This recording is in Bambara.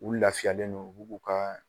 U laafiyalen no u bu k'u ka